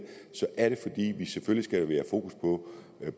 er det fordi vi selvfølgelig skal fokus på